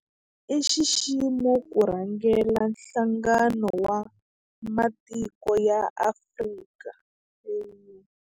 I nxiximo ku rhangela Nhlangano wa Matiko ya Afrika, AU.